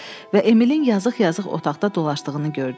Və Emilin yazıq-yazıq otaqda dolaşdığını gördü.